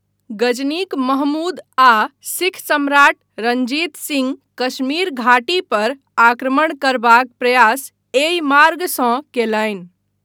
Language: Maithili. गजनीक महमूद आ सिख सम्राट रण्जीत सिँह कश्मीर घाटीपर आक्रमण करबाक प्रयास एहि मार्गसँ कयलनि।